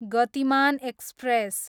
Gatimaan express